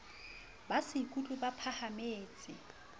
ba se ikutlwe ba phahametse